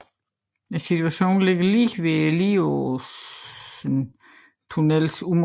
Stationen ligger lige ved Lieråsen tunnels munding